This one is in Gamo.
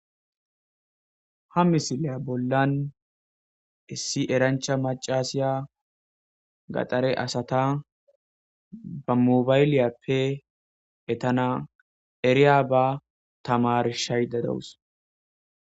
ha misiliya bollan issi erancha macasiya gaxare asata ba mobayliyappe etana eriya ba tamarshayda dawus